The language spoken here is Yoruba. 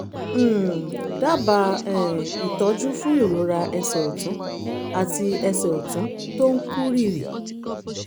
um dábàá um ìtọ́jú fún ìrora ẹsẹ̀ ọ̀tún àti ẹsẹ̀ ọ̀tún tó ń kú rìrì